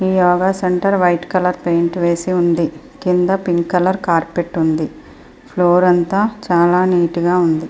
ఈ yoga centre white colour paint వేసి ఉంది కింద పింక్ కలర్ కార్పెట్ ఉంది ఫ్లోర్ అంతా చాలా నీట్ గా ఉంది.